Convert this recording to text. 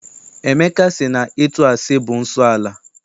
Emeka sị na ịtụ asị bụ nsọala.